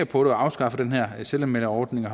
på det og afskaffe den her selvanmelderordning og